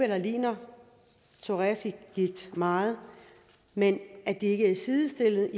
der ligner psoriasisgigt meget men at sygdommene ikke er sidestillet